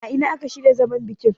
a ina aka shirya zaman bikin?